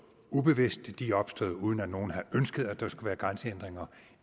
ubevidst de er opstået uden at nogen havde ønsket at der skulle være grænsehindringer